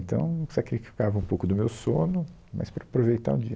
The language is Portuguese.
Então, sacrificava um pouco do meu sono, mas para aproveitar o dia.